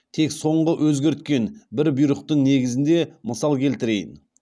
тек соңғы өзгерткен бір бұйрықтың негізінде мысал келтірейін